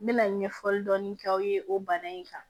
N mɛna ɲɛfɔli dɔɔni k'aw ye o bana in kan